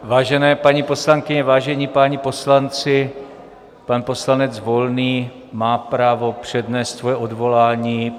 Vážené paní poslankyně, vážení páni poslanci, pan poslanec Volný má právo přednést svoje odvolání.